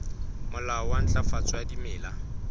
molao wa ntlafatso ya dimela